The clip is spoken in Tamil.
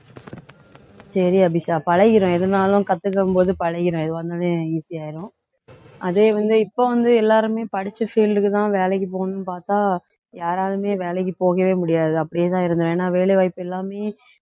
சரி அபிஷா பழகிடும் எதுனாலும் கத்துக்கும்போது பழகிடும் easy ஆயிரும் அதே வந்து இப்ப வந்து எல்லாருமே படிச்ச field க்குதான் வேலைக்கு போகணும்னு பார்த்தா யாராலுமே வேலைக்கு போகவே முடியாது அப்படியேதான் இருந்தோம் ஏன்னா வேலை வாய்ப்பு எல்லாமே